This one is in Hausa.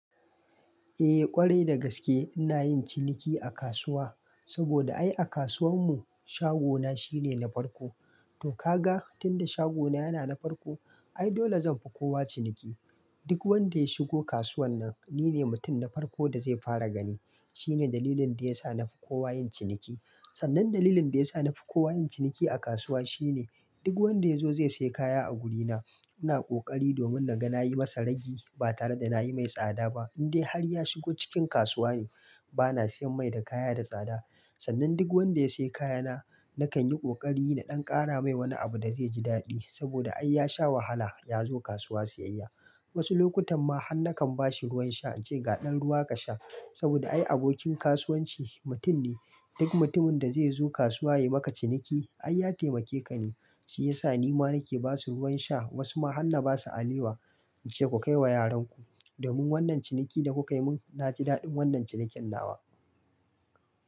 Eh ƙwarai da gaske ina yin ciniki a kasuwa, saboda ai a kasuwan mu shagona shine na farko. To ka ga tunda shagona yana na farko ai dole zanfi kowa ciniki. Duk wanda ya shigo kasuwan nan nine mutum na farko da zai fara gani. Shine dalilin da yasa nafi kowa yin ciniki. Sannan dalilin da yasa nafi kowa yin ciniki a kasuwa shine duk wanda ya zo zai sai kaya a wurina. Ina ƙoƙari domin naga nayi masa ragi ba tare da nayi mai tsada ba. Indai har ya shigo cikin kasuwa ne bana siyan mai da kaya da tsada. Sannan duk wanda ya sai kayana nakan yi kokari na ɗan kara mai wani abu da zai ji daɗi saboda ai ya sha wahala yazo kasuwa siyayya. Wasu lokutan ma hannakan bashi ruwan sha ance ga ɗan ruwa ka sha. Saboda ai abokin kasuwanci mutum ne. Duk mutumin da zai zo kasuwa yai maka ciniki ai ya taimake ka ne. Shi yasa nima nake basu ruwan sha wasu ma hanna basa alewa ance ku kai wa yaranku. Domin wannan ciniki da kukai mun naci daɗin wannan ciniken nawa.